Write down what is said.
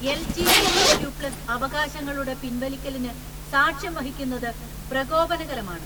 LGBTQ plus അവകാശങ്ങളുടെ പിൻവലിക്കലിന് സാക്ഷ്യം വഹിക്കുന്നത് പ്രകോപനകരമാണ്.